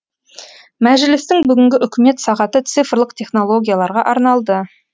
мәжілістің бүгінгі үкімет сағаты цифрлық технологияларға арналды